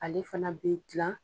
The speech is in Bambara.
Ale fana bɛ gilan